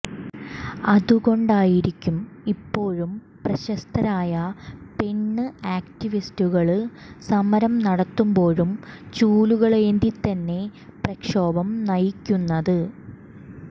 അതുകൊണ്ടായിരിക്കും ഇപ്പോഴും പ്രശസ്തരായ പെണ് ആക്ടിവിറ്റുകള് സമരം നടത്തുമ്പോഴും ചൂലുകളേന്തിത്തന്നെ പ്രക്ഷോഭം നയിക്കുന്നത്